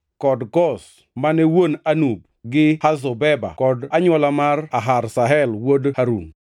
kod Koz, mane wuon Anub, to gi Hazobeba kod anywola mar Aharhel wuod Harum.